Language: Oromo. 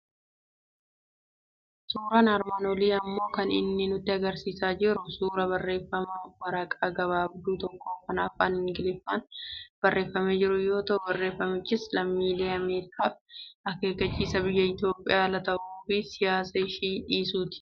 Suuraan armaan olii immoo kan inni nutti argisiisaa jiru suuraa barreeffama waraqaa gabaabduu tokko kan afaan Ingiliffaan barreeffamee jiruu yoo ta'u, barreeffamichis lammiilee Ameerikaaf akeekkachiisa biyya Itoophiyaa ala ta'uu fi siyaasa ishii dhiisuuti.